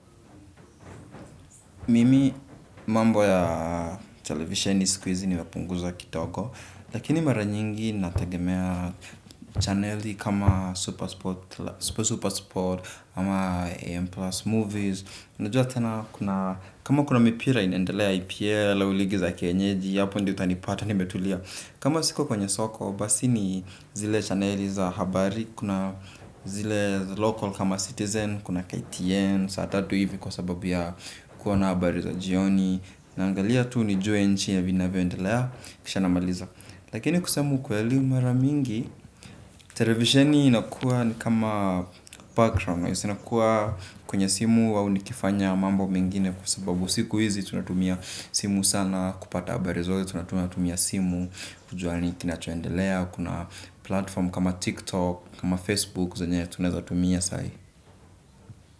Mimi mambo ya televisheni siku izi nimepunguza Kidogo. Lakini mara nyingi nategemea channeli kama Super Super Sport. Ama AM Plus movies unajua tena kuna kama kuna mipira inaendelea EPL au ligi za kienyeji apo ndio utanipata nimetulia. Kama siko kwenye soko basi ni zile channeli za habari. Kuna zile local kama citizen kuna KTN. Saatatu hivi kwa sababu ya kuwa na habari za jioni. Naangalia tu nijue nchi na vinavyoendelea. Kisha namaliza. Lakini kusema ukweli maramingi televisheni inakuwa ni kama background nakuwa kwenye simu au nikifanya mambo mengine. Kwa sababu siku hizi tunatumia simu sana. Kupata habari zote ya tunatumia simu. Kujua kinachoendelea. Kuna platform kama TikTok, kama Facebook zenye tunatumia sai.